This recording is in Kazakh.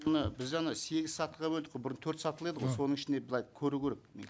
міне біз ана сегіз сатыға бөлдік қой бұрын төрт сатылы еді ғой соның ішінен былай көру керек